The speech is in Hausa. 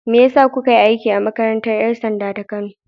Me ya sa kuka yi aiki a makarantar 'yan sanda ta Kano?